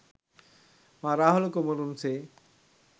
මා රාහුල කුමරුන් සේ